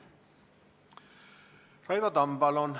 Raivo Tamm, palun!